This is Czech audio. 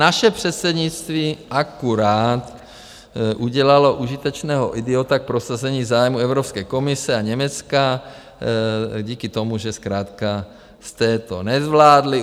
Naše předsednictví akorát udělalo užitečného idiota k prosazení zájmů Evropské komise a Německa díky tomu, že zkrátka jste to nezvládli.